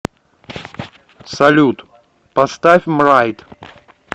салют поставь мрайд